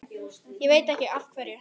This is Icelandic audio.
Ég veit ekkert af hverju.